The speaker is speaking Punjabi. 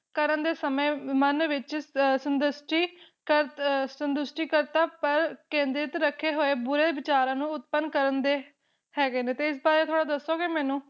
ਕਰਨ ਦੇ ਸਮੇ ਮਨ ਵਿਚ ਅ ਸੰਤੁਸ਼ਟੀ ਕਰ ਅ ਸੰਤੁਸ਼ਟੀ ਕਰਤਾ ਪਰ ਕੇਂਦਰਿਤ ਰੱਖੇ ਹੋਏ ਬੁਰੇ ਵਿਚਾਰਾਂ ਨੂੰ ਉਤਪਨ ਕਰਨ ਦੇ ਹੈਗੇ ਨੇ ਤੇ ਇਸ ਬਾਰੇ ਥੋੜਾ ਦੱਸੋਗੇ ਮੈਨੂੰ